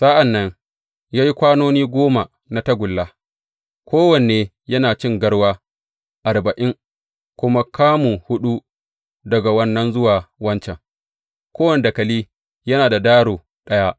Sa’an nan ya yi kwanoni goma na tagulla, kowane yana cin garwa arba’in, kuma kamu huɗu daga wannan zuwa wancan, kowane dakali yana da daro ɗaya.